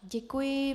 Děkuji.